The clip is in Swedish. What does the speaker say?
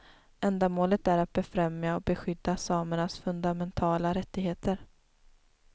Ändamålet är att befrämja och beskydda samernas fundamentala rättigheter.